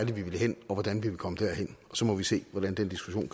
vi vil hen og hvordan vi vil komme derhen og så må vi se hvordan den diskussion